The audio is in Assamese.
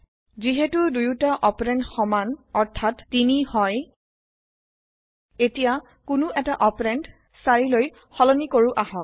যিহেতু দুয়োটা অপাৰেন্দ সমান অৰ্থাৎ ৩ হয় এতিয়া কোনো এটা অপাৰেন্দ ৪ লৈ সলনি কৰো আহক